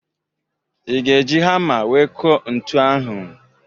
I ga-eji hama wee kụọ ntu ahụ?